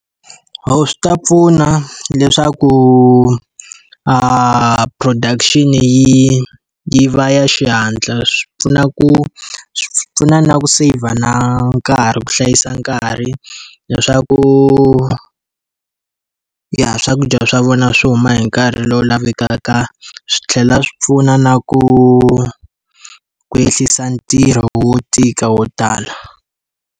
Swi ta pfuna leswaku production-i yi yi va ya xihatla, swi pfuna ku, swi pfuna na ku seyivha na nkarhi ku hlayisa nkarhi, leswaku ya swakudya swa vona swi huma hi nkarhi lowu lavekaka swi tlhela swi pfuna na ku ku ehlisa ntirho wo tika wo tala.